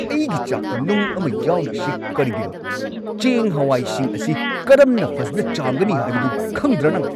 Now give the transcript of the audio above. ꯑꯩꯒꯤ ꯆꯥꯛꯇ ꯅꯨꯡ ꯑꯃ ꯌꯥꯎꯔꯤꯁꯤ ꯀꯔꯤꯒꯤꯅꯣ? ꯆꯦꯡ-ꯍꯋꯥꯏꯁꯤꯡ ꯑꯁꯤ ꯀꯔꯝꯅ ꯐꯖꯅ ꯆꯥꯝꯒꯅꯤ ꯍꯥꯏꯕꯗꯨ ꯈꯪꯗ꯭ꯔꯥ ꯅꯪ?